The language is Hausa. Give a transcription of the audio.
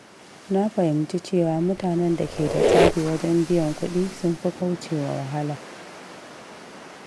Na fahimci cewa mutanen da ke da tsari wajen biyan kuɗi sun fi kaucewa wahala.